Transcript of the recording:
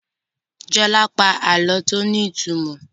Jola pa àlọ tíó ní ìtumọ̀.